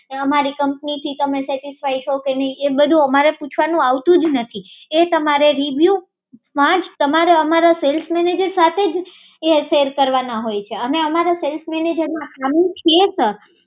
અમારી કંપનીથી સેટીસ્ફાય છો કે નહિ એ બધું અમારે પૂછવાનું આવતું જ નથી એ તમારે રીવ્યુમાં જ તમારે અમારા સેલ્સ મેનેજર સાથે જ શેર કરવાના હોઈ છે અને અમર સેલ્સ મેનેજરમાં અમે છીએ